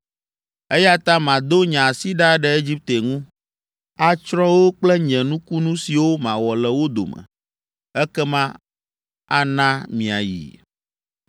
Eya ta mado nye asi ɖa ɖe Egipte ŋu, atsrɔ̃ wo kple nye nukunu siwo mawɔ le wo dome, ekema ana miayi.